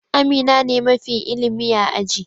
Amina ne mafi ilimi a aji.